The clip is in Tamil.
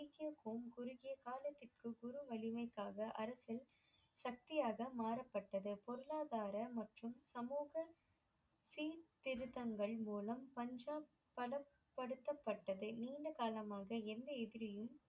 ஊர் வலிமைக்காக அரசன் சக்தியாக மாறப்பட்டது பொருளாதார மற்றும் சமூக சீர்திருத்தங்கள் மூலம் பஞ்சாப் படப்படத்தப்பட்டது நீண்ட காலமாக எந்த எதிரியும்